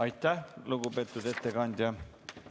Aitäh, lugupeetud ettekandja!